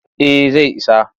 Eh zai isa.